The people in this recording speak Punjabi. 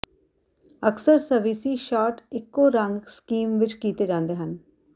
ਅਕਸਰ ਸਵਿਸੀ ਸ਼ਾਟ ਇੱਕੋ ਰੰਗ ਸਕੀਮ ਵਿੱਚ ਕੀਤੇ ਜਾਂਦੇ ਹਨ